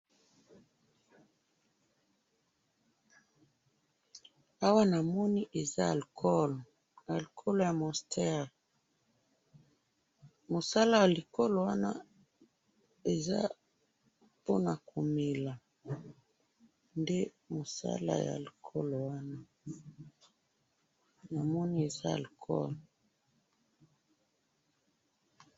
Awa namoni eza alcohol, alcohol ya monster, musala ya alcohol wana eza pona komela, nde mosala ya alcohol wana, namoni eza alcohol.